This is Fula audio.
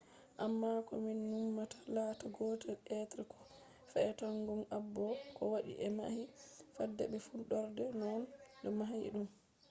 amma ko min numata latta gotel be ko fe’ata gong abo? ko waɗi ɓe mahi fada be fuɗɗorde? no ɓe mahi ɗum?